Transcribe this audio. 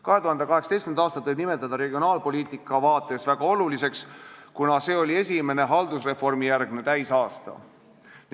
2018. aastat võib nimetada regionaalpoliitika seisukohalt väga oluliseks, kuna see oli esimene haldusreformijärgne täisaasta.